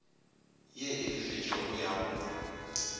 ye e lefetšwego ya go